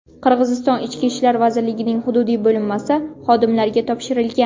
Qirg‘iziston Ichki ishlar vazirligining hududiy bo‘linmasi xodimlariga topshirilgan.